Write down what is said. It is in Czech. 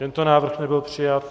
Tento návrh nebyl přijat.